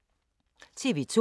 TV 2